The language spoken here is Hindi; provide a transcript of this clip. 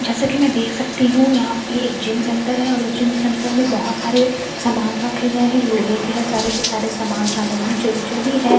जैसा की मैं देख सकती हूँ यहां पे एक जिम सेंटर है और इस जिम सेंटर मैं बहुत सारे सामान रखे गए है लोहे के है सारे सामग्री जो भी है सा--